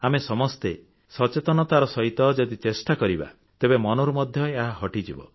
ଆମେ ସମସ୍ତେ ସଚେତନତାର ସହିତ ଯଦି ଚେଷ୍ଟା କରିବା ତେବେ ମନରୁ ମଧ୍ୟ ଏହା ହଟିଯିବ